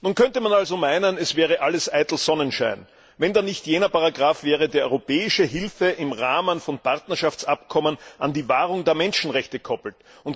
Nun könnte man also meinen, es wäre alles eitel Sonnenschein, wenn da nicht jener Paragraph wäre, der europäische Hilfe im Rahmen von Partnerschaftsabkommen an die Wahrung der Menschenrechte koppelt.